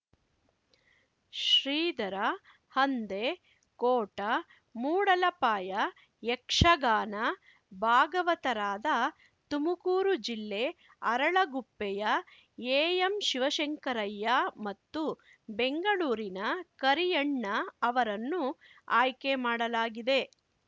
ಶ್ರೀಧರ ಹಂದೆ ಕೋಟ ಮೂಡಲಪಾಯ ಯಕ್ಷಗಾನ ಭಾಗವತರಾದ ತುಮಕೂರು ಜಿಲ್ಲೆ ಅರಳಗುಪ್ಪೆಯ ಎಎಂ ಶಿವಶಂಕರಯ್ಯ ಮತ್ತು ಬೆಂಗಳೂರಿನ ಕರಿಯಣ್ಣ ಅವರನ್ನು ಆಯ್ಕೆ ಮಾಡಲಾಗಿದೆ